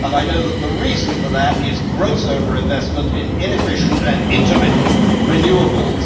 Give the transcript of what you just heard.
I know that the reason for that is gross over investment in inefficient and intermittent renewables.